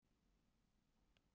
sagði hún undrandi.